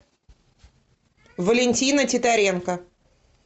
валентина титаренко